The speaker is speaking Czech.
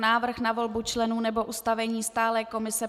Návrh na volbu členů nebo ustavení stálé komise